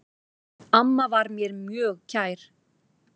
Amma var mér mjög kær.